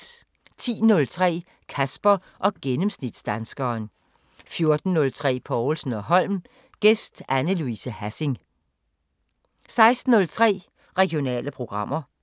10:03: Kasper og gennemsnitsdanskeren 14:03: Povlsen & Holm: Gæst Anne Louise Hassing 16:03: Regionale programmer